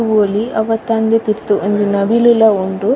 ತೂವೊಲಿ ಅವತ್ತಾಂದೆ ತಿರ್ತ್ ಒಂಜಿ ನವಿಲುಲ ಉಂಡು.